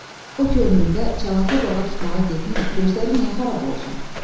O ki ömründə çanaqlı bağa tutmağa getməyib, gözləri niyə xarab olsun?